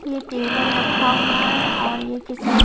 ये टेबल रखा हुआ है और ये किसी--